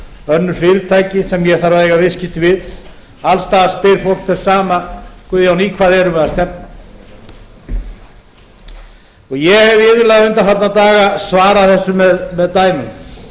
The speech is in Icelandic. önnur fyrirtæki sem ég þarf að eiga viðskipti við alls staðar spyr fólks þess sama guðjón í hvað erum við að stefna ég hef iðulega undanfarna daga svarað þessu með dæmum